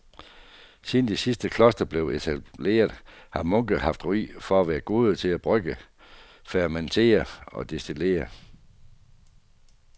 Siden de tidligste klostre blev etableret har munke haft ry for at være gode til at brygge, fermentere og destillere.